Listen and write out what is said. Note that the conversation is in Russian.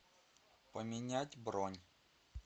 поменять бронь